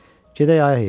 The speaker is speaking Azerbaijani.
Gedək, ay heyvan,